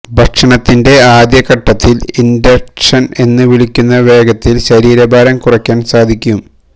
ഭക്ഷണത്തിന്റെ ആദ്യഘട്ടത്തിൽ ഇൻറക്ഷൻ എന്ന് വിളിക്കുന്ന വേഗത്തിൽ ശരീരഭാരം കുറയ്ക്കാൻ സാധിക്കും